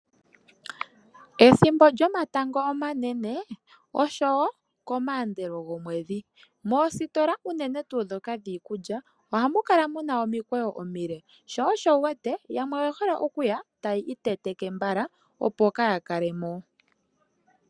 Ethimbo lyomatango omanene oshowo komaandelo gomwedhi, moositola unene tuu ndhoka dhiikulya ohamu kala mu na omikweyo omile sho osho wu wete yamwe oye hole oku ya taya iteteke mbala, opo kaaya kale mo.